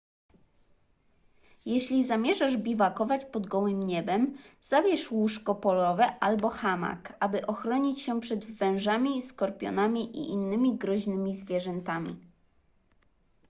jeśli zamierzasz biwakować pod gołym niebem zabierz łóżko polowe albo hamak aby ochronić się przed wężami skorpionami i innymi groźnymi zwierzętami